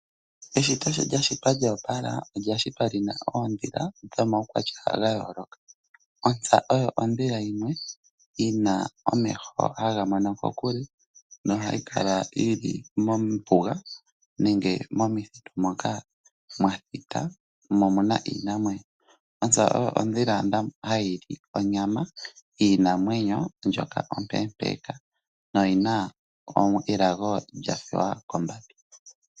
Eshito sho lyashitwa lyopala oyashitwa lina oodhila dhomawukwatya gayoloka, ontsa oyo odhila yimwe yina omeho hagamono kokule nohayi kala yili mombunga nenge momithitu moka mwathita mo omuna iinamwenyo , ontsa oyo odhila hayili onyama yinamwenyo ndjoka opepeka noyina elago lyafewa kombambi.